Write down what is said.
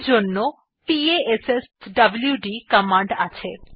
এই জন্য পাশ্বদ কমান্ড আছে